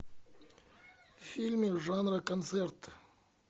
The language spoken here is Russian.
фильмы жанра концерт